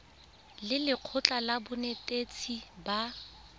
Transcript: le lekgotlha la banetetshi ba